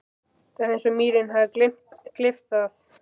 Það er eins og mýrin hafi gleypt það.